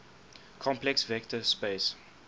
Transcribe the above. complex vector space